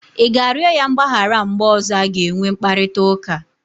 Ị ga-arịọ ya mgbaghara mgbe ọzọ a ga-enwe mkparịta ụka?